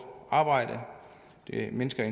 arbejde det mindsker i